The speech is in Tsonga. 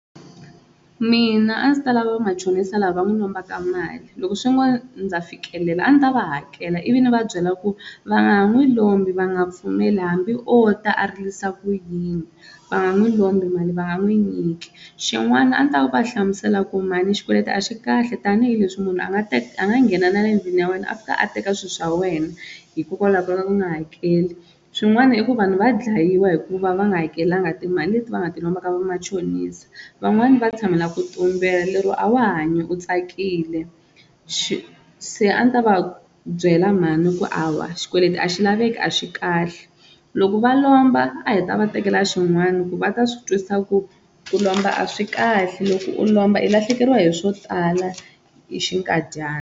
Mina a ndzi ta lava vamachonisa lava va n'wi lombaka mali loko swi ngo ndza fikelela a ni ta va hakela ivi ni va byela ku va nga ha n'wi lombi va nga pfumeli hambi o ta a rilisa ku yini va nga n'wi lombi mali va nga n'wi nyiki, xin'wana a ni ta va a hlamusela ku mhani xikweleti a xi kahle tanihileswi munhu a nga teka a nga nghena na le endlwini ya wena a fika a teka swi swa wena hikokwalaho ka ku nga hakeli, swin'wana i ku vanhu va dlayiwa hi ku va va nga hakelanga timali leti va nga ti lomba ka va machonisa, van'wani va tshamela ku tumbela lero a wa hanyi u tsakile se a ni ta va byela mhani ku hawa xikweleti a xi laveki a xi kahle loko va lomba a hi ta va tekela swin'wani ku va ta swi twisisa ku ku lomba a swi kahle loko u lomba i lahlekeriwa hi swo tala hi xinkadyana.